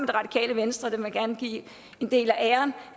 det radikale venstre dem vil jeg gerne give en del af æren